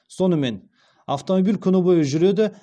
сонымен автомобиль күні бойы жүреді